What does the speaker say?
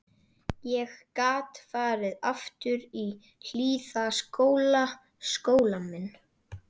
Ég gat farið aftur í Hlíðaskóla, skólann minn.